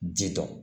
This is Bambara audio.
Ji dɔn